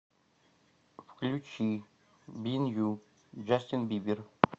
включи бин ю джастин бибер